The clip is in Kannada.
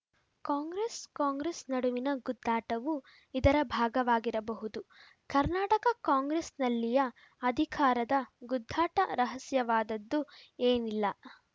ಕಾಂಗ್ರೆಸ್‌ಕಾಂಗ್ರೆಸ್‌ ನಡುವಿನ ಗುದ್ದಾಟವೂ ಇದರ ಭಾಗವಾಗಿರಬಹುದು ಕರ್ನಾಟಕ ಕಾಂಗ್ರೆಸ್‌ನಲ್ಲಿಯ ಅಧಿಕಾರದ ಗುದ್ದಾಟ ರಹಸ್ಯವಾದದ್ದು ಏನಲ್ಲ